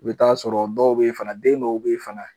I bi taa sɔrɔ dɔw be yen fana, den dɔw be yen fana